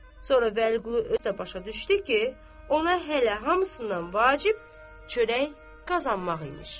Sonra Vəliqulu özü də başa düşdü ki, ona hələ hamısından vacib çörək qazanmaq imiş.